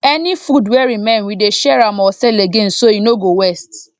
any food wey remain we dey share am or sell again so e no go waste